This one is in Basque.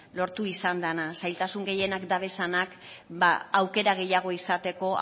lortu izan dana zailtasun gehienak dabezanak aukera gehiago izateko